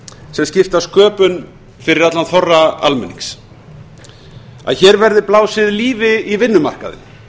sem skipta sköpum fyrir allan þorra almenning að hér verði blásið lífi í vinnumarkaðinn